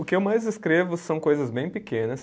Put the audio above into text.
O que eu mais escrevo são coisas bem pequenas.